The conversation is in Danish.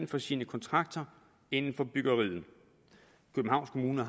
på sine kontrakter inden for byggeriet og københavns kommune